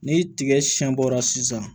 Ni tigɛ siɲɛ bɔra sisan